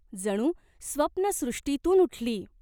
जणू स्वप्नसृष्टीतून उठली.